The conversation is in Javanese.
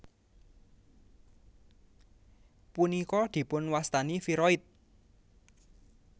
Punika dipunwastani viroid